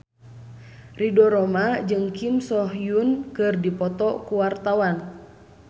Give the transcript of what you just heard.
Ridho Roma jeung Kim So Hyun keur dipoto ku wartawan